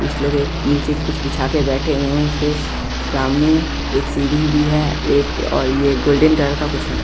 कुछ लोग एक नीचे कुछ बिछाके बैठे हुए है उसके सामने एक सीढ़ी भी है एक और ये गोल्डन कलर का कुछ है।